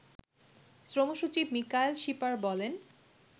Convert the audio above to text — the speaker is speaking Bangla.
শ্রমসচিব মিকাইল শিপার বলেন